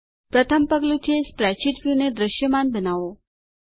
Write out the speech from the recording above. પ્રથમ પગલું છે સ્પ્રેડશીટ વ્યુને દૃશ્યમાન બનાવો